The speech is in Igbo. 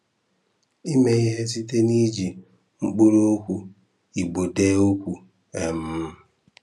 Ịmẹ ihe site n'iji mkpụrụokwu Igbo dee okwu. um